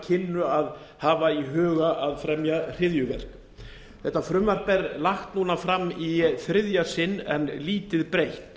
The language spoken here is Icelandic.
kynnu að hafa í huga að fremja hryðjuverk þetta frumvarp er núna lagt fram í þriðja sinn en lítið breytt